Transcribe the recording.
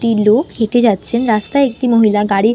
টি লোক হেটে যাচ্ছেন রাস্তায় একটি মহিলা গাড়ি--